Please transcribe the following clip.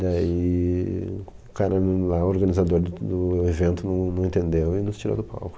Daí o cara não, lá o organizador do do evento não entendeu e nos tirou do palco.